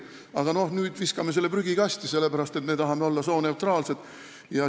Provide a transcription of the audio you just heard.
Aga nüüd me viskame selle prügikasti, sellepärast et me tahame olla sooneutraalsed.